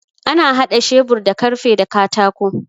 Ana haɗa shebur da karfe da katako